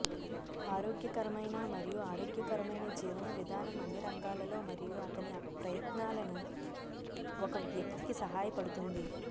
ఆరోగ్యకరమైన మరియు ఆరోగ్యకరమైన జీవన విధానం అన్ని రంగాలలో మరియు అతని ప్రయత్నాలను ఒక వ్యక్తికి సహాయపడుతుంది